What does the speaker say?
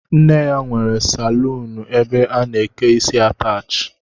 Nne ya nwere saluunu ebe a na-eke isi ataachi